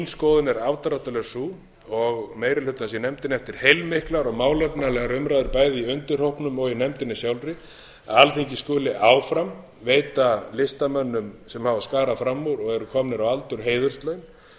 skoðun er afdráttarlaust sú og meiri hlutans í nefndinni eftir heilmiklar og málefnalegar umræður bæði undirhópnum og í nefndinni sjálfri að alþingi skuli áfram veita listamönnum sem hafa skarað fram úr og eru komnir á aldur heiðurslaun